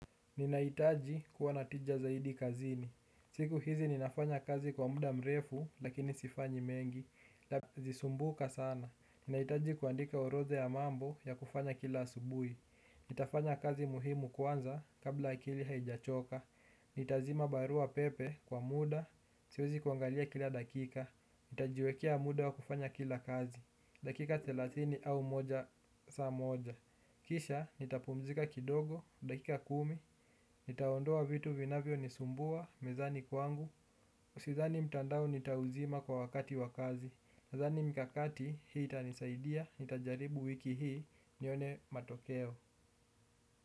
Ninahitaji kuwa na tija zaidi kazini. Siku hizi ninafanya kazi kwa muda mrefu lakini sifanyi mengi. Lapi zisumbuka sana. Ninahitaji kuandika orodha ya mambo ya kufanya kila asubuhi. Nitafanya kazi muhimu kwanza kabla akili haijachoka. Nitazima barua pepe kwa muda. Siwezi kuangalia kila dakika. Nitajiwekea muda wa kufanya kila kazi. Dakika thelathini au moja saa moja kisha nitapumzika kidogo. Dakika kumi. Nitaondoa vitu vinavyonisumbua mezani kwangu sidhani mtandao nitauzima kwa wakati wa kazi. Sidhani mikakati hii itanisaidia. Nitajaribu wiki hii. Nione matokeo.